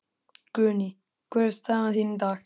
Guðný: Hvernig er staðan þín í dag?